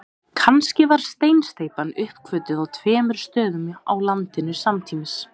Kannski var steinsteypan uppgötvuð á tveimur stöðum á landinu samtímis.